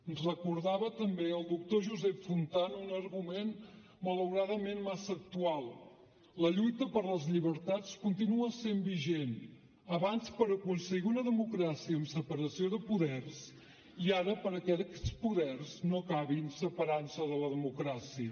ens recordava també el doctor josep fontana un argument malauradament massa actual la lluita per les llibertats continua sent vigent abans per aconseguir una democràcia amb separació de poders i ara perquè aquests poders no acabin separant se de la democràcia